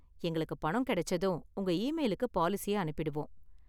எங்களுக்கு பணம் கிடைச்சதும், உங்க ஈமெயிலுக்கு பாலிசிய அனுப்பிடுவோம்.